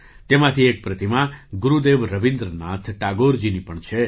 તેમાંથી એક પ્રતિમા ગુરુદેવ રવીન્દ્રનાથ ટાગોરજીની પણ છે